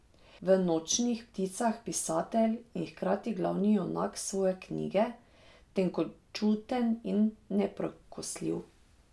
V Nočnih pticah pisatelj in hkrati glavni junak svoje knjige, tenkočuten in neprekosljiv.